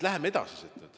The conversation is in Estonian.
Läheme edasi!